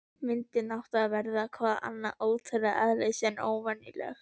Myndin átti að verða- hvað annað- trúarlegs eðlis, en óvenjuleg.